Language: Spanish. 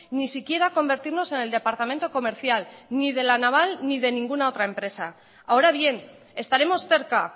ni siquiera convertirnos en el departamento comercial ni de la naval ni de ninguna otra empresa ahora bien estaremos cerca